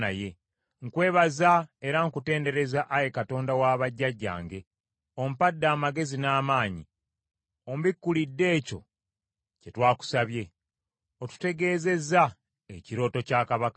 Nkwebaza era nkutendereza, Ayi Katonda wa bajjajjange ompadde amagezi n’amaanyi, ombikkulidde ekyo kye twakusabye, otutegeezezza ekirooto kya kabaka.”